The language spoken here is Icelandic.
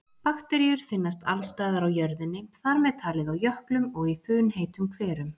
Bakteríur finnast alls staðar á jörðinni, þar með talið á jöklum og í funheitum hverum.